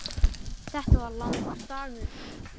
Þetta var langur dagur.